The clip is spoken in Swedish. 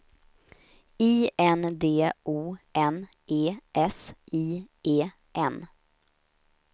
I N D O N E S I E N